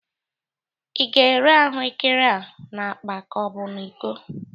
Ị ga-ere ahụrkere a n'akpa ka ọ bụ n'iko?